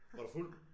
Var du fuld?